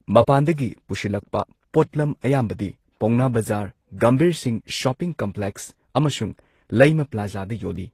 ꯃꯄꯥꯟꯗꯒꯤ ꯄꯨꯁꯤꯜꯂꯛꯄ ꯄꯣꯠꯂꯝ ꯑꯌꯥꯝꯕꯗꯤ ꯄꯥꯎꯅꯥ ꯕꯖꯥꯔ, ꯒꯝꯚꯤꯔ ꯁꯤꯡ ꯁꯣꯄꯤꯡ ꯀꯝꯄ꯭ꯂꯦꯛꯁ ꯑꯃꯁꯨꯡ ꯂꯩꯃ ꯄ꯭ꯂꯥꯖꯥꯗ ꯌꯣꯜꯂꯤ꯫